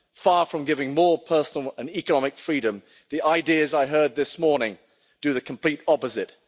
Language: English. Far from giving more personal and economic freedom, the ideas I heard this morning do the complete opposite.